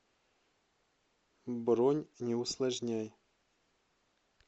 бронь не усложняй